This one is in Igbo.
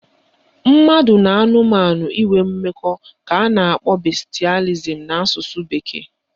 Mmadụ na anụmanụ inwe mmekọ ka a na-akpọ bestialism na asụsụ bekee